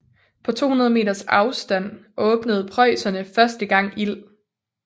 På 200 meters afstand åbnede preusserne første gang ild